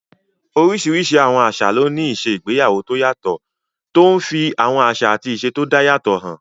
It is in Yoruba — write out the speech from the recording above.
Oríṣiríṣi àwọn àṣà ló ní ìṣe igbéyàwó tó yàtọ̀, tó n fi àwọn àṣà àti ìṣe tó dá yàtọ̀ hàn